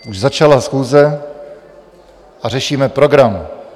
Už začala schůze a řešíme program.